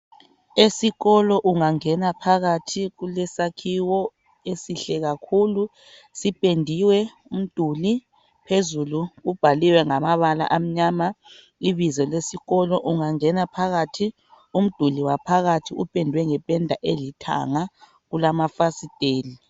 esikolo ungangena phakathi kulesakhiwo esihle kakhulu sipendiwe umduli phezulu sibhaliwe ngababala amnyama ibizo lesikolo ungangena phakathi umduli waphakathi upendwe ngependa elithanga kulamafasiteli